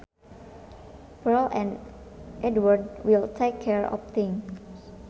Pearl and Edward will take care of things